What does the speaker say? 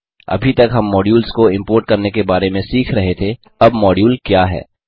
अभी तक हम मॉड्यूल्स को इम्पोर्ट करने के बारे में सीख रहे थे अब मौड्यूल क्या है